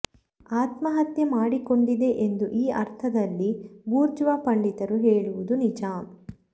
ಆತ್ಮಹತ್ಯೆ ಮಾಡಿಕೊಂಡಿದೆ ಎಂದು ಈ ಅರ್ಥದಲ್ಲಿ ಬೂಜ್ರ್ವಾ ಪಂಡಿತರು ಹೇಳುವುದು ನಿಜ